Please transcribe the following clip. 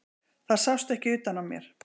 Það sást ekki utan á mér.